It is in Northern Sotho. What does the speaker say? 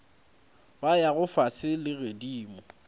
ba yago fase le godimo